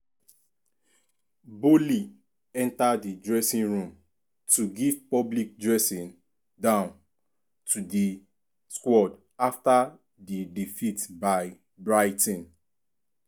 boehly enter di dressing room to give public dressing down to di squad afta di defeat by brighton.